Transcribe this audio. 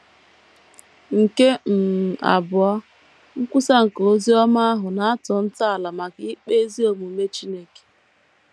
Nke um abụọ, nkwusa nke ozi ọma ahụ na - atọ ntọala maka ikpe ezi omume Chineke.